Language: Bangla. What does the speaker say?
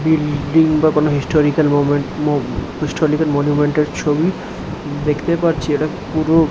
বিল - ডিং বা কোন হিস্টরিকাল মোমেন্ট মো হিস্টরিকাল মনুমেন্ট এর ছবি দেখতে পাচ্ছি এটা পুরো --